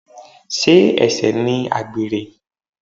Sé ẹ̀ṣẹ̀ ni àgbèrè?